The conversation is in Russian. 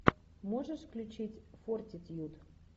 можешь включить фортитьюд